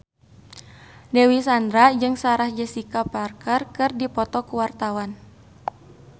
Dewi Sandra jeung Sarah Jessica Parker keur dipoto ku wartawan